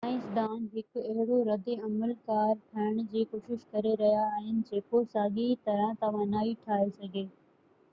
سائنسدان هڪ اهڙو رد عمل ڪار ٺاهڻ جي ڪوشش ڪري رهيا آهن جيڪو ساڳئي طرح توانائي ٺاهي سگهي